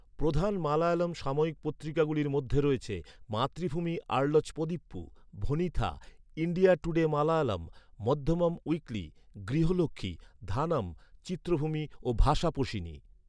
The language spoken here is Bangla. প্রধান মালয়ালম সাময়িক পত্রিকাগুলির মধ্যে রয়েছে, মাতৃভূমি আর্লচপদিপ্পু, Vanitha, India Today Malayalam, Madhyamam weekly, Grihalakshmi, Dhanam, Chitrabhumi ও ভাষাপোশিনী।